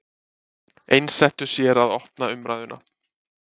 Einsettu sér að opna umræðuna